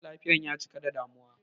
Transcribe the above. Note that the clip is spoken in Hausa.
Mara lafiyan ya cika da damuwa